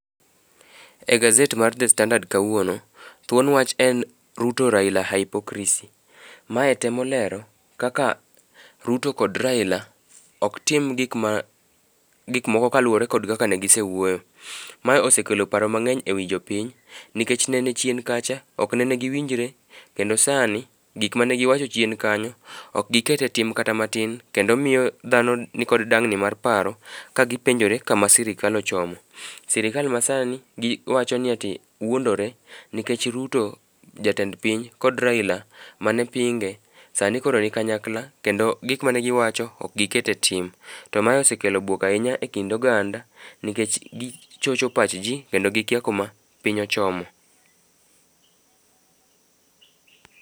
E gazet mar The Standard kawuono, thuon wach en Ruto Raila hypocricy . Mae temo lero kaka Ruto kod Raila ok tim gik moko kaluwore kod kaka negisewuoyo. Ma osekelo paro mang'eny e wi jopiny nikech nene chien kacha ok nene giwinjre kendo sani gik mane giwacho chien kanyo, ok gikete tim kata matin, kendo miyo dhano nikod dang'ni mar paro, kagipenjore kama sirikal ochomo. Sirikal masani giwacho ni ati wuondore nikech Ruto jatend piny kod Raila mane pinge, sani koro ni kanyakla kendo gik mane giwacho ok gikete tim. To ma osekelo bwok ahinya e kind oganda nikech gichocho pachji kendo gikia kuma piny ochomo.